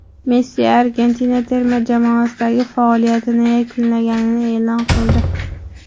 Messi Argentina terma jamoasidagi faoliyatini yakunlaganini e’lon qildi .